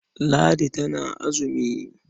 Ladi tana azumi.